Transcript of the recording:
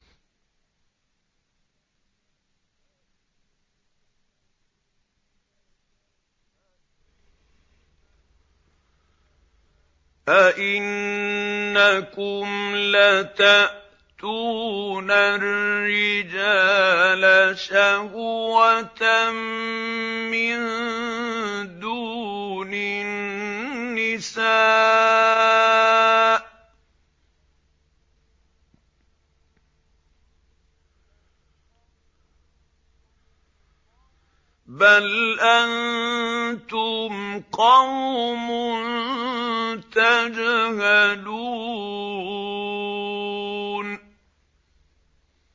أَئِنَّكُمْ لَتَأْتُونَ الرِّجَالَ شَهْوَةً مِّن دُونِ النِّسَاءِ ۚ بَلْ أَنتُمْ قَوْمٌ تَجْهَلُونَ